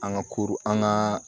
An ka ko an ka